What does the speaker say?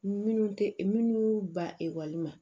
Minnu tɛ minnu ba ekɔli ma